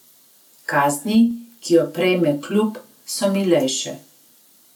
Kazni, ki jo prejme klub, so milejše.